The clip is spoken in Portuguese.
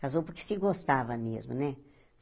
Casou porque se gostava mesmo, né?